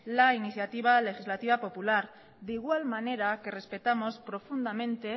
la iniciativa legislativa popular de igual manera que respetamos profundamente